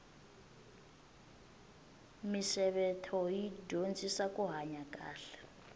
misevetho yi dyondzisa kuhanya kahle